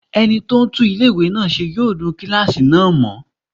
Ẹni tó ń tún ilé-ìwé náà ṣe yóò nu kílásì náà mọ́